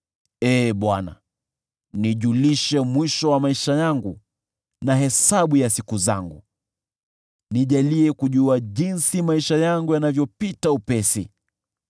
“Ee Bwana , nijulishe mwisho wa maisha yangu na hesabu ya siku zangu; nijalie kujua jinsi maisha yangu yanavyopita upesi.